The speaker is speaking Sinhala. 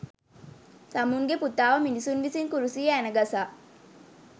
තමුන්ගේ පුතාව මිනිසුන් විසින් කුරුසියේ ඇන ගසා